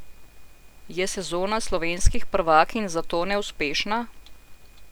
Je sezona slovenskih prvakinj zato neuspešna?